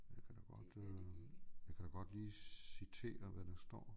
Jeg kan da godt øh jeg kan da godt lige citere hvad der står